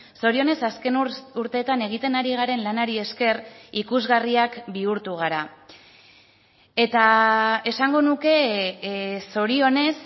zorionez azken urteetan egiten ari garen lanari esker ikusgarriak bihurtu gara eta esango nuke zorionez